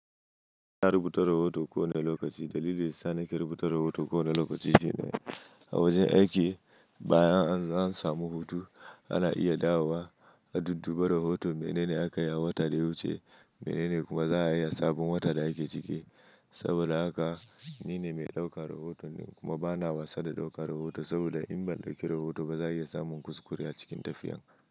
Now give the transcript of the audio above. Na rubuta rahoto kowane lokaci. Dalilin sa ni ke rubuta rahoto kowane lokaci shine a wajen aiki bayan an samu hutu ana iya dawowa a dudduba rahoto menene aka yi a watan da ya wuce menene kuma za a yi a sabon watan da ake ciki. Saboda haka ni ne mai ɗaukar rahoto ne kuma bana wasa da ɗaukar rahoto saboda in ban ɗauki rahoto ba za a iya samun kuskure a cikin tafiyan.